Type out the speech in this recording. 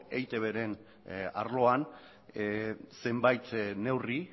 eitbren arloan zenbait neurri